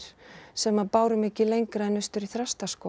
sem að báru mig ekki lengra en austur í